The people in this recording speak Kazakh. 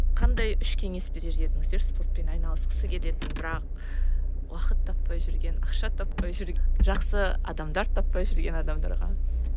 қандай үш кеңес берер едіңіздер спортпен айналысқысы келетін бірақ уақыт таппай жүрген ақша таппай жақсы адамдар таппай жүрген адамдарға